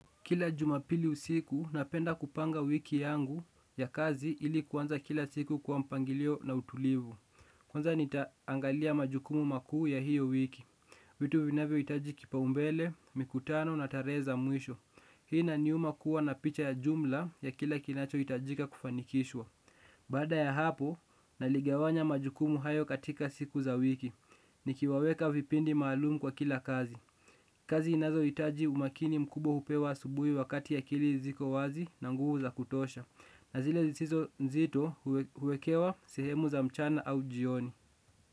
Kila jumapili usiku, napenda kupanga wiki yangu ya kazi ili kuanza kila siku kwa mpangilio na utulivu. Kwanza nitaangalia majukumu makuu ya hiyo wiki. Vitu vinavyohitaji kipaumbele, mikutano na tarehe za mwisho. Hii inaniuma kuwa na picha ya jumla ya kila kinachohitajika kufanikishwa. Baada ya hapo, naligawanya majukumu hayo katika siku za wiki. Nikiwaweka vipindi maalum kwa kila kazi. Kazi inazohitaji umakini mkubwa hupewa asubuhi wakati akili ziko wazi na nguvu za kutosha. Na zile zisizo nzito huwekewa sehemu za mchana au jioni.